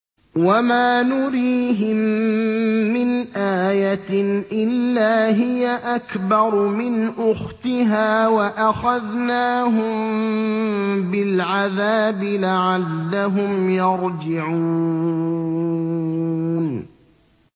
وَمَا نُرِيهِم مِّنْ آيَةٍ إِلَّا هِيَ أَكْبَرُ مِنْ أُخْتِهَا ۖ وَأَخَذْنَاهُم بِالْعَذَابِ لَعَلَّهُمْ يَرْجِعُونَ